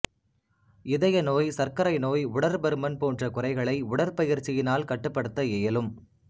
இதய நோய் சர்க்கரை நோய் உடற்பருமன் போன்ற குறைகளை உடற்பயிற்சியினால் கட்டுப்படுத்த இயலும்